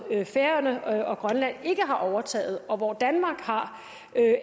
færøerne og grønland ikke har overtaget og hvor danmark har